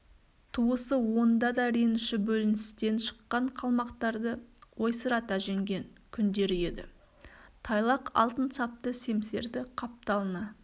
туысы онда да реніш бөліністен шыққан қалмақтарды ойсырата жеңген күндері еді тайлақ алтын сапты семсерді қапталына